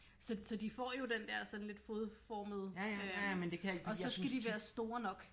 Så så de får jo den der sådan lidt fodformede øh og så skal de være store nok